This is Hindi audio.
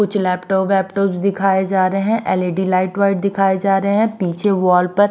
कुछ लैपटॉप वैपटॉप दिखाए जा रहे हैं एलईडी लाइट वाइट दिखाए जा रहे हैं पीछे वॉल पर--